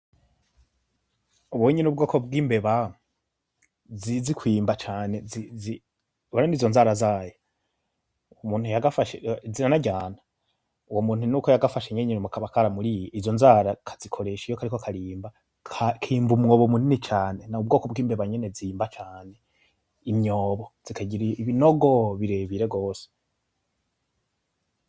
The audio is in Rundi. Ubu unye n'ubwoko bw' imbeba zizi kwimba cane. Urabona izo nzara zayo, umuntu yagafashe ziranaryana. Uwo muntu nuko yagafashe nyene kaba karamuriye. Izo nzara kazikoresha iyo kariko karimba, kimba umwobo munini cane. N'ubwoko bw' imbeba nyene zimba cane imyobo zikagira ibinogo birebire rwose.